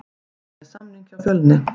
Ég er með samning hjá Fjölni.